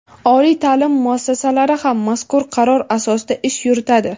oliy taʼlim muassasalari ham mazkur qaror asosida ish yuritadi.